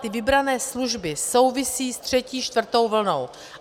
Ty vybrané služby souvisí s třetí, čtvrtou vlnou.